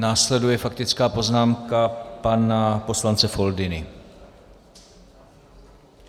Následuje faktická poznámka pana poslance Foldyny.